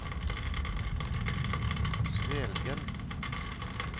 Svelgen